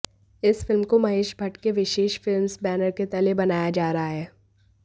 इस फिल्म को महेश भट्ट के विशेष फिल्म्स बैनर के तले बनाया जा रहा है